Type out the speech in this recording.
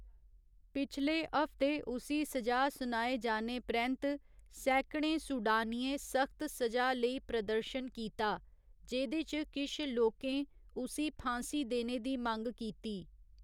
पिछले हफ्ते उसी सजा सुनाए जाने परैंत्त, सैकड़ें सूडानियें सख्त सजा लेई प्रदर्शन कीता, जेह्दे च किश लोकें उसी फांसी देने दी मंग कीती।